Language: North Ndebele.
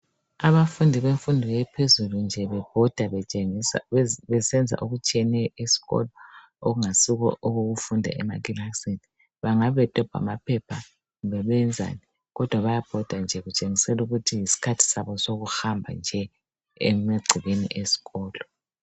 Abafundi bemfundo ephezulu nje bebhoda besenza okutshiyeneyo esikolo okungayisikho okokufunda emakilasini. Bangabe bedobha amaphepha kumbe beyenzani kodwa bayabhoda nje betshengisela ukuthi yisikhathi sokuhamba nje emagcekeni esikolo.